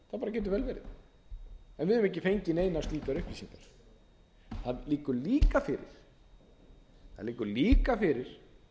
verið en við höfum ekki fengið neinar slíkar upplýsingar það liggur líka fyrir